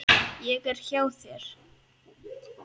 Ég er hjá þér.